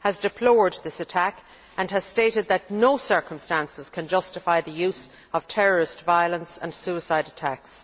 has deplored this attack and has stated that no circumstances can justify the use of terrorist violence and suicide attacks.